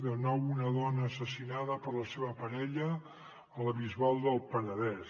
de nou una dona assassinada per la seva parella a la bisbal del penedès